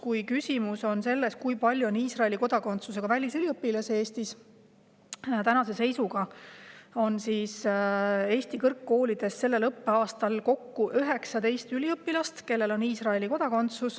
Kui küsimus on selles, kui palju on Iisraeli kodakondsusega välisüliõpilasi Eestis, siis tänase seisuga õpib Eesti kõrgkoolides sel õppeaastal kokku 19 Iisraeli kodakondsusega üliõpilast.